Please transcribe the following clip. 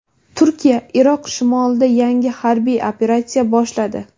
Turkiya Iroq shimolida yangi harbiy operatsiya boshladi.